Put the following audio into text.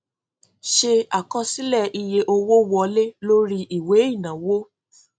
ṣe àkọsílẹ iye owó wọlé lórí ìwé ìnáwó